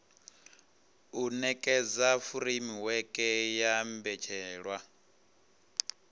u nekedza furemiweke ya mbetshelwa